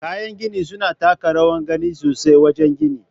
Kayan gini suna taka rawar gani sosai wajen gini.